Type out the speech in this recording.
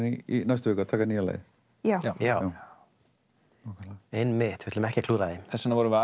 í næstu viku að taka nýja lagið já einmitt við ætlum ekki að klúðra því þess vegna vorum við